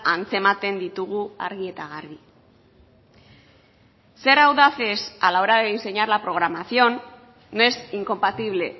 antzematen ditugu argi eta garbi ser audaces a la hora de diseñar la programación no es incompatible